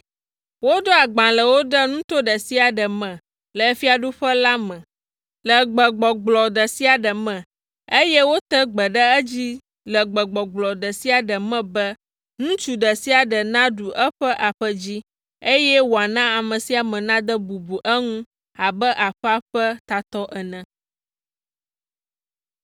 Woɖo agbalẽwo ɖe nuto ɖe sia ɖe me le fiaɖuƒe la me le gbegbɔgblɔ ɖe sia ɖe me, eye wote gbe ɖe edzi le gbegbɔgblɔ ɖe sia ɖe me be ŋutsu ɖe sia ɖe naɖu eƒe aƒe dzi, eye wòana ame sia ame nade bubu eŋu abe aƒea ƒe tatɔ ene.